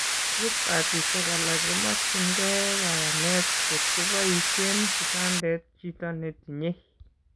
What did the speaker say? Expertisiek alak komokyinkei kanyaet kotko boisien kitandet chito netinye